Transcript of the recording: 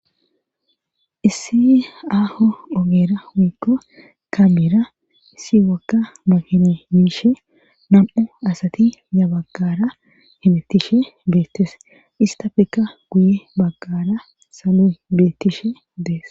issi aaho ogeera wiikko kameera issi wakka makine miishe nam7u asati yabagara himettishe beettes istafekka guye baggara saloy beettishe dees